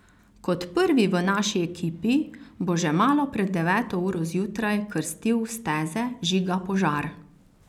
Kot prvi v naši ekipi bo že malo pred deveto uro zjutraj krstil steze Žiga Požar.